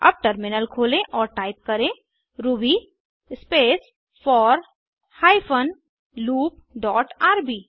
अब टर्मिनल खोलें और टाइप करें Ruby space four hyphen loop dot RB